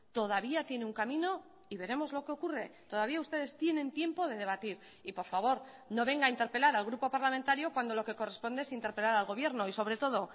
todavía tiene un camino y veremos lo que ocurre todavía ustedes tienen tiempo de debatir y por favor no venga a interpelar al grupo parlamentario cuando lo que corresponde es interpelar al gobierno y sobre todo